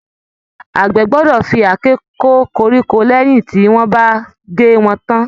Àgbẹ̀ gbọ́dọ̀ fi àáké kó koríko lẹyìn tí wọ́n bá gé wọn tán.